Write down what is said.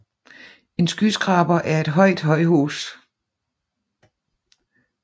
En skyskraber er et højt højhus